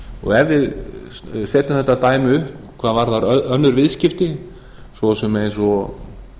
og ef við setjum þetta dæmi upp hvað varðar önnur viðskipti svo sem eins og